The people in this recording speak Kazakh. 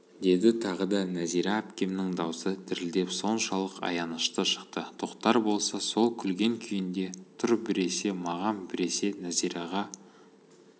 деді тағы да нәзира әпкемнің даусы дірілдеп соншалық аянышты шықты тоқтар болса сол күлген күйінде тұр біресе маған біресе нәзираға